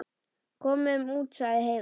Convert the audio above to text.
Komum út, sagði Heiða.